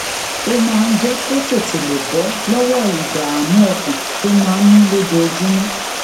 ó máa ń jé kó lè tètè bó lówó ìdààmú ọkàn tó máa ń ní lójoojúmó